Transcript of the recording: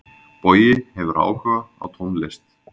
Bogi hefur áhuga á tónlist.